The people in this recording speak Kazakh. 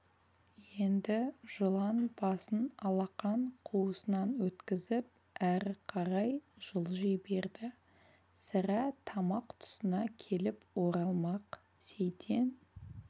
енді жылан басын алақан қуысынан өткізіп әрі қарай жылжи берді сірә тамақ тұсына келіп оралмақ сейтен